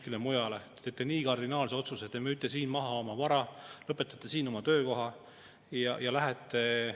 Oli päris omapärane tunne too päev, kui teerulliga suudeti suurperede toetus väiksemaks, ja siin tõesti olid saadikud, kes selle peale eufoorias plaksutasid.